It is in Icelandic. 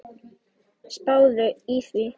Spáðu í það.